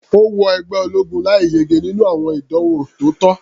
Ó wọ ẹgbẹ́ ológun láì yege nínú àwọn ìdánwò tó tọ́.